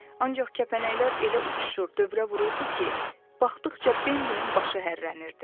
Ancaq kəpənəklər elə uçuşur, dövrə vururdu ki, baxdıqca Bembinin başı hərlənirdi.